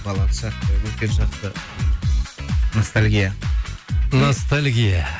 балалық шақты өткен шақты ностальгия ностальгия